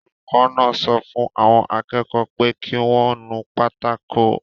Olùkọ́ náà sọ fún àwọn akẹ́kọ̀ọ́ pé kí wọ́n nu pátákó